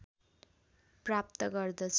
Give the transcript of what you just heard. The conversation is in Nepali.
प्राप्त गर्दछ